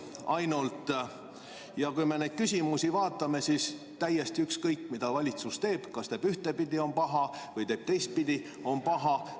Ja kui me vaatame neid küsimusi, siis on täiesti ükskõik, mida valitsus teeb: teeb ühtpidi, on paha, teeb teistpidi, on paha.